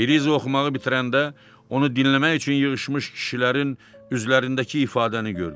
Beliza oxumağı bitirəndə, onu dinləmək üçün yığışmış kişilərin üzlərindəki ifadəni gördü.